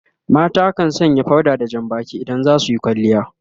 mata kan Sanya powder da Jan Baki idan za suyi kwalliya